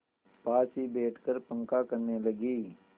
पास ही बैठकर पंखा करने लगी